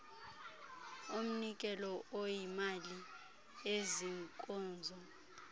umnikelo oyimali eziinkozo